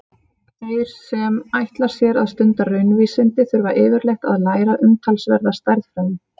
Þeir sem ætla sér að stunda raunvísindi þurfa yfirleitt að læra umtalsverða stærðfræði.